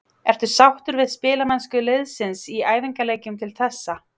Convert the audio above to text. Ertu sáttur við spilamennsku liðsins í æfingaleikjum til þessa?